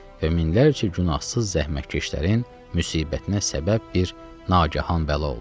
Və minlərcə günahsız zəhmətkeşlərin müsibətinə səbəb bir naqahan bəla oldu.